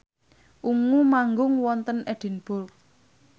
Ungu manggung wonten Edinburgh